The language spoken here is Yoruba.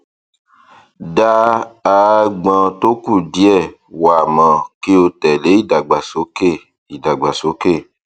dá aágbọn tó kùdìẹ wà mọ kí o tẹlé ìdàgbàsókè ìdàgbàsókè